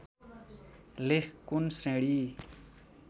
लेख कुन श्रेणी